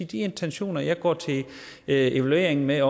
de intentioner jeg går til evalueringen med